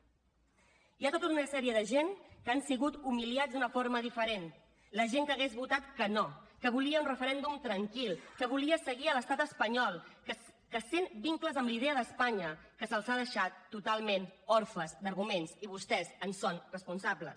hi ha tota una sèrie de gent que han sigut humiliats d’una forma diferent la gent que hauria votat que no que volia un referèndum tranquil que volia seguir a l’estat espanyol que sent vincles amb la idea d’espanya que se’ls ha deixat totalment orfes d’arguments i vostès en són responsables